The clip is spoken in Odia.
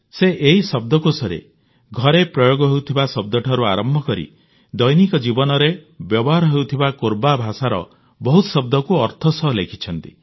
ସେ ଏହି ଶବ୍ଦକୋଷରେ ଘରେ ପ୍ରୟୋଗ ହେଉଥିବା ଶବ୍ଦଠାରୁ ଆରମ୍ଭ କରି ଦୈନିକ ବ୍ୟବହାର ହେଉଥିବା କୋରବା ଭାଷାର ବହୁତ ଶବ୍ଦକୁ ଅର୍ଥ ସହ ଲେଖିଛନ୍ତି